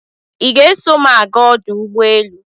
Ị ga-eso m aga ọdụ ụgbọ elu?